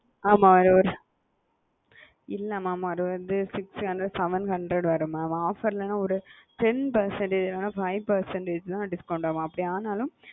ஆமா அது ஒரு இல்ல mam அது வந்து six hundred seven hundred வரும் mam offer இல்லேனா ஒரு ten percentage இல்லேன ஒரு five percentage தான் discount ஆகும்அப்படி ஆனாலும்,